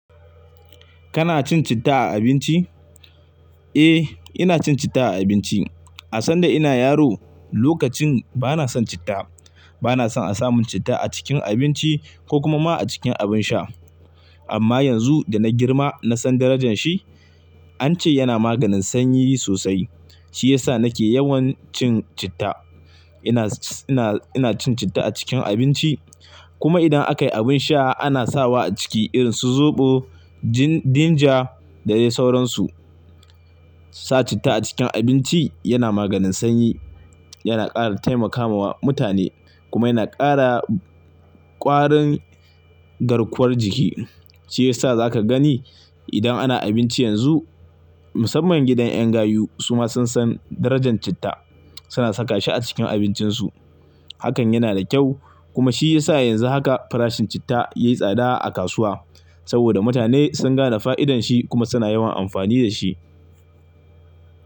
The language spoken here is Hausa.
Kana cin citta a abinci? Eh, ina cin citta a abinci. A san da ina yaro, lokacin bana son citta. Bana son a samun citta a cikin abinci ko kuma ma a cikin abin sha. Amma yanzu da na girma, na san darajan shi, an ce yana maganin sanyi sosai. Shi ya sa nake yawan cin citta. Ina, ina, ina cin citta a cikin abinci kuma idan aka yi abin sha ana sawa a ciki irin su zoɓo, gin-ginger da dai sauransu. Sa citta a cikin abinci yana maganin sanyi, yana ƙara taimakawa mutane kuma yana ƙara ƙwarin garkuwar jiki. Shi ya sa za ka gani idan ana abinci yanzu, musamman gidan 'yan gayu suma sun san darajan citta, suna saka shi a cikin abincinsu. Hakan yana da kyau kuma shi ya sa yanzu haka farashin citta ya yi tsada a kasuwa saboda mutane sun gane fa'idanshi kuma suna yawan amfani da shi.